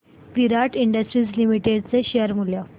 विराट industries limited चे share मूल्य